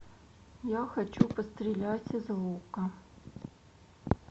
я хочу пострелять из лука